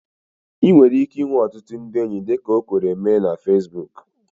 Ị nwere ike inwe ọtụtụ ndị enyi dịka o kwere mee na Fesbuku